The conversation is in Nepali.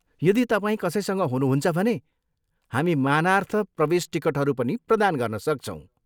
यदि तपाईँ कसैसँग हुनुहुन्छ भने हामी मानार्थ प्रवेश टिकटहरू पनि प्रदान गर्न सक्छौँ।